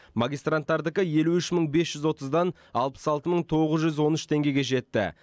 магистранттардікі елу үш мың бес жүз отыздан алпыс алты мың тоғыз жүз он үш теңгеге жетті